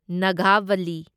Nagavali